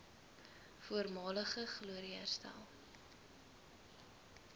voormalige glorie herstel